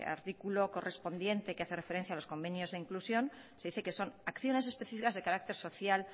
artículo correspondiente que hace referencia a los convenios de inclusión se dice que son acciones especificas de carácter social